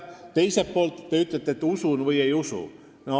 Teiselt poolt, te ütlete, et usun või ei usu.